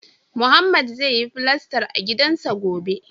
Mohammed zai yi filastar a gidansa gobe